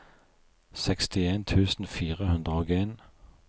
sekstien tusen fire hundre og en